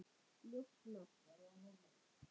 Ljótt nafn.